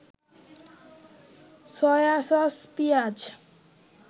soy sauce, পিঁয়াজ